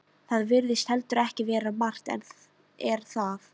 Það virðist heldur ekki vera margt- en er það.